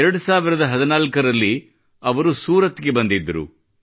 2014 ರಲ್ಲಿ ಅವರು ಸೂರತ್ ಗೆ ಬಂದಿದ್ದರು